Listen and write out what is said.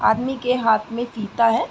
आदमी के हाथ में फीता है।